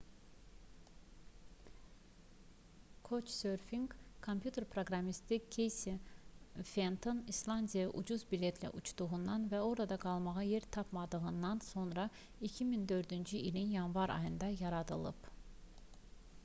"couchsurfing kompüter proqramisti keysi fenton i̇slandiyaya ucuz biletlə uçduqdan və orada qalmağa yer tapmadıqdan sonra 2004-cü ilin yanvar ayında yaradılıb